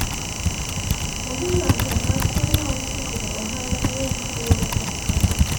onge ng'ato ang'ata ma oseyudo ohala mang'eny kaluwore kod kungo